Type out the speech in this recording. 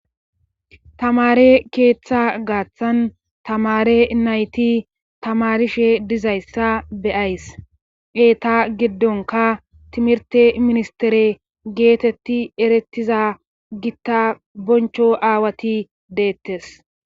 Tamaare keetha gaathan tamaare nayti tamaarishe dizayssa be7ays eeta gidddonkka timirtte ministterey geetetti erettiza gitta bonch aawati deettes.